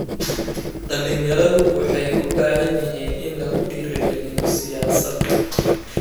Dhalinyaradu waxay u baahan yihiin in lagu dhiirigaliyo siyaasadda.